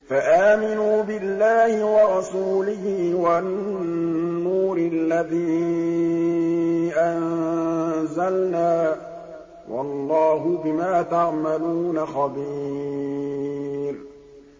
فَآمِنُوا بِاللَّهِ وَرَسُولِهِ وَالنُّورِ الَّذِي أَنزَلْنَا ۚ وَاللَّهُ بِمَا تَعْمَلُونَ خَبِيرٌ